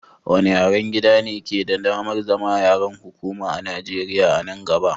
Wanne yaren gidan ne ke da damar zama yaren hukuma a Nijeriya a nan gaba?